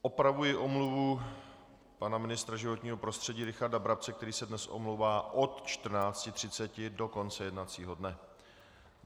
Opravuji omluvu pana ministra životního prostředí Richarda Brabce, který se dnes omlouvá od 14.30 do konce jednacího dne.